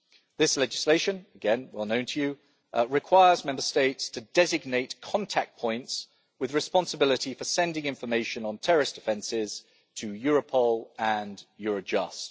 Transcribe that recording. This legislation, again well known to you, requires Member States to designate contact points with responsibility for sending information on terrorist offences to Europol and Eurojust.